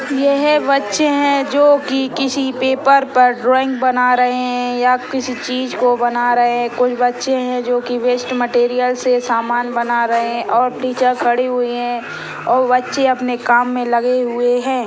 यह बच्चे है जो कि किसी पेपर पर ड्रॉइंग बना रहे हैं या किसी चीज को बना रहे हैं कुछ बच्चे हैं जो वेस्ट मटेरियल से समान बना रहे हैं और टीचर खड़ी हुई हैं और बच्चे अपने काम मे लगे हुए हैं।